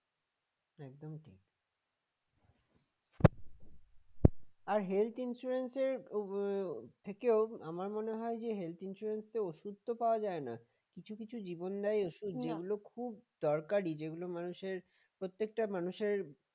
আর health insurance এর আহ থেকেও আমার মনে হয় যে health insurance ওষুধ তো পাওয়া যায় না কিছু কিছু জীবন দায়ী ওষুধ দরকারি খুব দরকারী যেগুলো মানুষের প্রত্যেকটা মানুষের